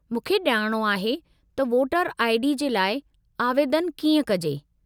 मूंखे ॼाणणो आहे त वोटर आई.डी. जे लाइ आवेदनु कीअं कजे।